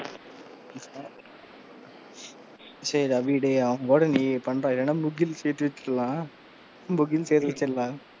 சேரி டேய் அபி அவன் கூட நீ பண்ணுடா இல்லேன்னா முகிலை சேத்தி வெச்சிரலாம், முகில் சேத்தி வெச்சிரலாம்,